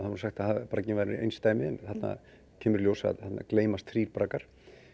nú sagt að bragginn væri einsdæmi en þarna kemur í ljós að þarna gleymast þrír braggar